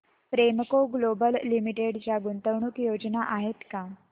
Premco global limited च्या गुंतवणूक योजना आहेत का